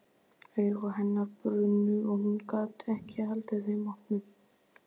Augu hennar brunnu og hún gat ekki haldið þeim opnum.